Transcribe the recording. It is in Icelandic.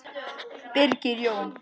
Birgir Jón.